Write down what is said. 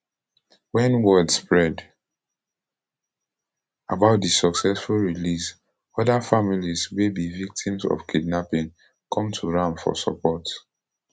wen word spread about di successful release oda families wey be victims of kidnapping come to am for support